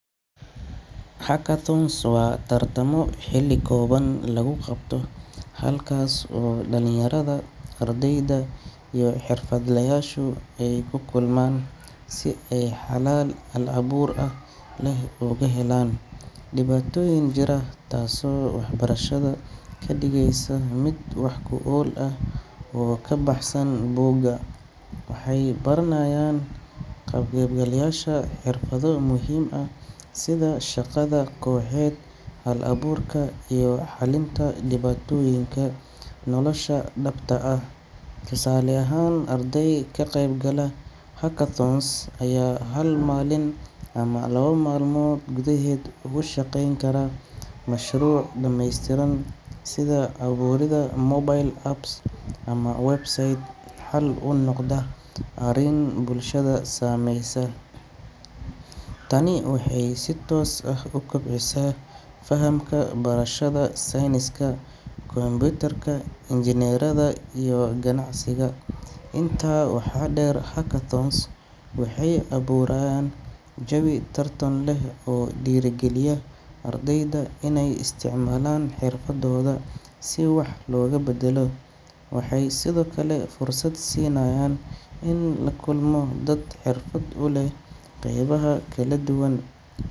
Hackathons waa tartamo xilli kooban lagu qabto halkaas oo dhalinyarada, ardayda, iyo xirfadlayaashu ay ku kulmaan si ay xalal hal-abuur leh ugu helaan dhibaatooyin jira, taasoo waxbarashada ka dhigaysa mid wax ku ool ah oo ka baxsan buugga. Waxay barayaan ka qaybgalayaasha xirfado muhiim ah sida shaqada kooxeed, hal-abuurka, iyo xallinta dhibaatooyinka nolosha dhabta ah. Tusaale ahaan, arday ka qayb gala hackathon ayaa hal maalin ama laba maalmood gudaheed ugu shaqayn kara mashruuc dhameystiran sida abuuridda mobile app ama website xal u noqda arrin bulshada saameysa. Tani waxay si toos ah u kobcisaa fahamka barashada sayniska kombuyuutarka, injineeriyadda, iyo ganacsiga. Intaa waxaa dheer, hackathons waxay abuurayaan jawi tartan leh oo dhiirrigeliya ardayda inay isticmaalaan xirfadooda si wax loogu beddelo. Waxay sidoo kale fursad siinayaan in lala kulmo dad xirfad u leh qaybaha kala duwan.